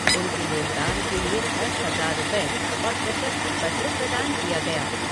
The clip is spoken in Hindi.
उनके योगदान के लिए दस हज़ार रुपए और प्रशस्ति पत्र प्रदान किया गया।